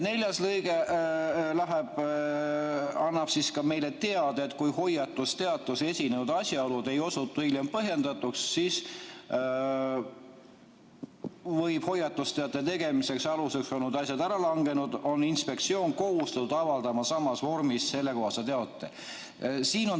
Neljas lõige annab meile teada, et kui hoiatusteates esitatud asjaolud ei osutu hiljem põhjendatuks või on hoiatusteate tegemise aluseks olnud asjaolud ära langenud, on inspektsioon kohustatud avaldama samas vormis sellekohase teate.